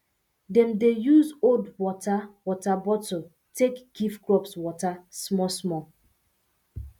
dem dey use old wota wota bottle take give crops water smallsmall